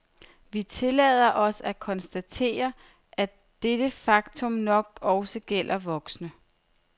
Vi tillader os at konstatere, at dette faktum nok også gælder voksne.